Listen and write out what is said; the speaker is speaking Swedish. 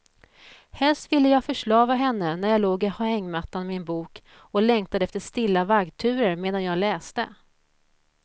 Helst ville jag förslava henne när jag låg i hängmattan med en bok och längtade efter stilla vaggturer medan jag läste.